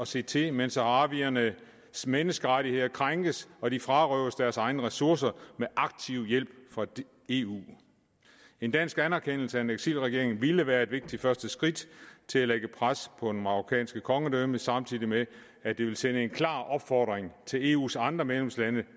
se til mens saharawiernes menneskerettigheder krænkes og de frarøves deres egne ressourcer med aktiv hjælp fra eu en dansk anerkendelse af en eksilregering ville være et vigtigt første skridt til at lægge pres på det marokkanske kongedømme samtidig med at det vil sende en klar opfordring til eus andre medlemslande